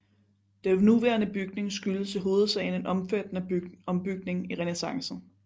Den nuværende bygning skyldes i hovedsagen en omfattende ombygning i renæssancen